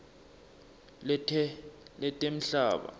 letemhlaba